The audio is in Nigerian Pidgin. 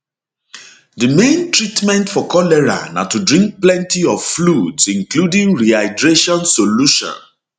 di main treatment for cholera na to drink plenty of fluids including rehydration solution